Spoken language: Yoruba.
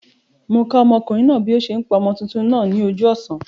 Mó okùnrin náà bí o se n pa ọmọ tuntun náà ní ojú òsán